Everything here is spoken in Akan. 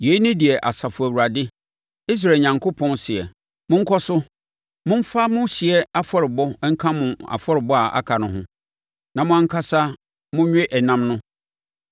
“ ‘Yei ne deɛ Asafo Awurade, Israel Onyankopɔn, seɛ: Monkɔ so, momfa mo ɔhyeɛ afɔrebɔ nka mo afɔrebɔ a aka no ho, na mo ankasa monwe ɛnam no!